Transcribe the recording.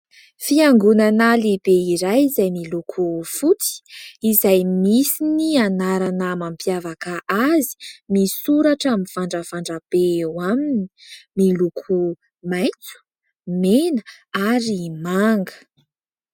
Fiangonana lehibe iray izay miloko fotsy ; izay misy ny anarana mampiavaka azy misoratra mivandravandra be eo aminy ; miloko maitso, mena ary manga.